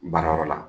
Baarayɔrɔ la